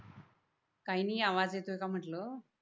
काय नि आवाज येतोय का म्हटल.